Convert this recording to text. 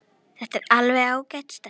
Þetta er alveg ágæt stelpa.